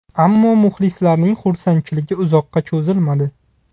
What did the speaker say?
Ammo muxlislarning xursandchiligi uzoqqa cho‘zilmadi.